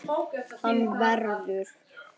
Hann verður.